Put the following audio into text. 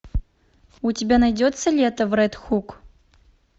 у тебя найдется лето в ред хук